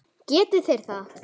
Geti þeir það?